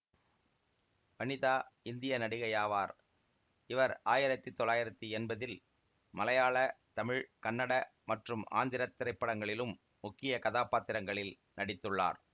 வனிதா இந்திய நடிகையாவார் இவர் ஆயிரத்தி தொள்ளாயிரத்தி எம்பதில் மலையாள தமிழ் கன்னட மற்றும் ஆந்திரத் திரைப்படங்களிலும் முக்கிய கதாப்பாத்திரங்களில் நடித்துள்ளார்